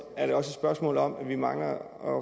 er et spørgsmål om at vi mangler